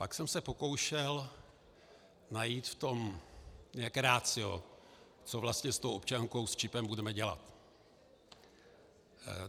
Pak jsem se pokoušel najít v tom nějaké ratio, co vlastně s tou občankou s čipem budeme dělat.